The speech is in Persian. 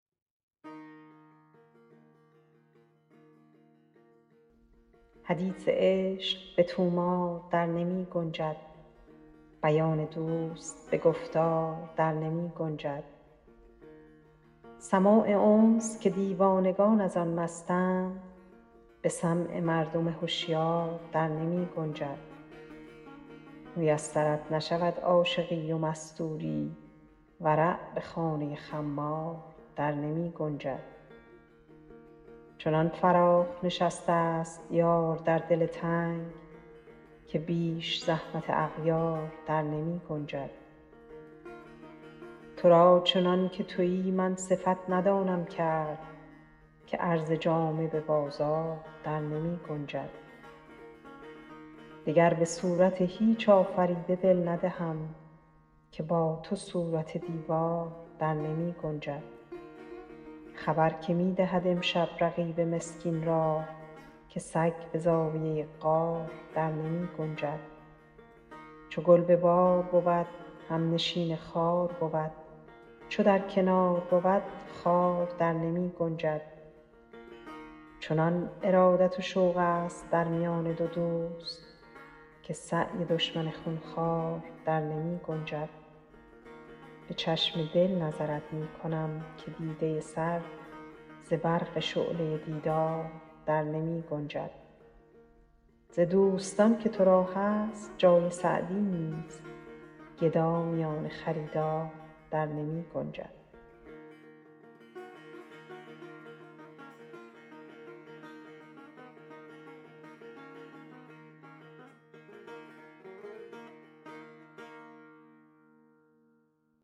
حدیث عشق به طومار در نمی گنجد بیان دوست به گفتار در نمی گنجد سماع انس که دیوانگان از آن مستند به سمع مردم هشیار در نمی گنجد میسرت نشود عاشقی و مستوری ورع به خانه خمار در نمی گنجد چنان فراخ نشسته ست یار در دل تنگ که بیش زحمت اغیار در نمی گنجد تو را چنان که تویی من صفت ندانم کرد که عرض جامه به بازار در نمی گنجد دگر به صورت هیچ آفریده دل ندهم که با تو صورت دیوار در نمی گنجد خبر که می دهد امشب رقیب مسکین را که سگ به زاویه غار در نمی گنجد چو گل به بار بود همنشین خار بود چو در کنار بود خار در نمی گنجد چنان ارادت و شوق ست در میان دو دوست که سعی دشمن خون خوار در نمی گنجد به چشم دل نظرت می کنم که دیده سر ز برق شعله دیدار در نمی گنجد ز دوستان که تو را هست جای سعدی نیست گدا میان خریدار در نمی گنجد